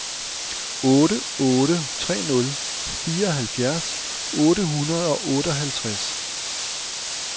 otte otte tre nul fireoghalvfjerds otte hundrede og otteoghalvtreds